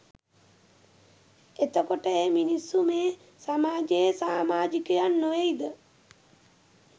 එතකොට ඒ මිනිස්සු මේ සමාජයේ සාමාජිකයන් නොවෙයිද?